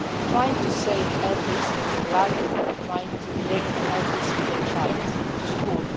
trying to save every single life trying to bring every single child to school